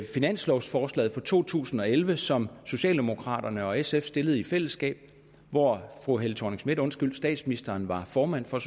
finanslovforslag for to tusind og elleve som socialdemokraterne og sf stillede i fællesskab og hvor statsministeren var formand for